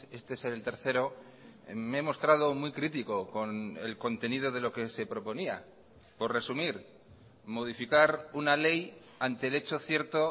este es el tercero me he mostrado muy crítico con el contenido de lo que se proponía por resumir modificar una ley ante el hecho cierto